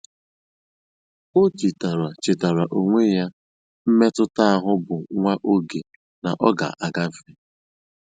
Ó chétáárá chétáárá ónwé yá mmétụ́tà áhụ̀ bụ́ nwá óge nà ọ́ gà-àgáfé.